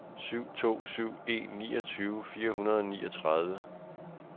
syv to syv en niogtyve fire hundrede og niogtredive